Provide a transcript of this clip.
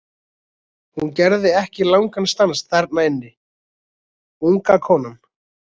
Hún gerði ekki langan stans þarna inni, unga konan.